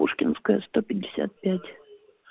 пушкинская сто пятьдесят пять